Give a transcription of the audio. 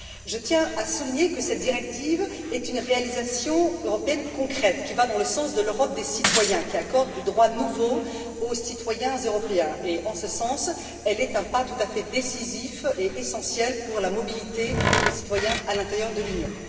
Je tiens à souligner que cette directive est une réalisation européenne concrète qui va dans le sens de l'Europe des citoyens, qui accorde des droits nouveaux aux citoyens européens et, en ce sens, elle est un pas tout à fait décisif et essentiel pour la mobilité des citoyens à l'intérieur de l'Union.